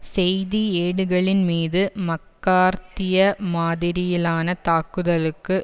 செய்தி ஏடுகளின் மீது மக்கார்த்திய மாதிரியிலான தாக்குதலுக்கு